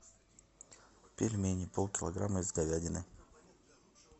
пельмени пол килограмма из говядины